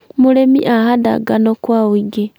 mũrĩmi ahanda ngano kwa ũingĩ .